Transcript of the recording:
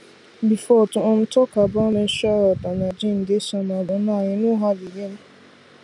before to um talk about menstrual health and hygiene dey somehow but now e no hard again